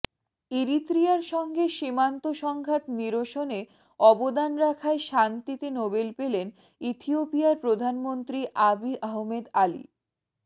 ইরিত্রিয়ার সঙ্গে সীমান্ত সংঘাত নিরসনে অবদান রাখায় শান্তিতে নোবেল পেলেন ইথিওপিয়ার প্রধানমন্ত্রী আবি আহমেদ আলি